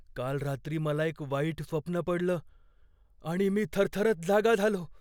काल रात्री मला एक वाईट स्वप्न पडलं आणि मी थरथरत जागा झालो.